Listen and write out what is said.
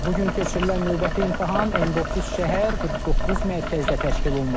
Bu gün keçirilən növbəti imtahan 19 şəhər, 49 mərkəzdə təşkil olunub.